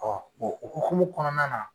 okumu kɔnɔna na.